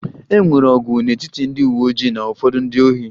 E nwere ọgụ n'etiti ndị uwe ojii na ụfọdụ ndị ohi